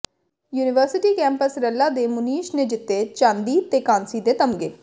university campus Ralla ਦੇ ਮੁਨੀਸ਼ ਨੇ ਜਿੱਤੇ ਚਾਂਦੀ ਤੇ ਕਾਂਸੀ ਦੇ ਤਮਗੇ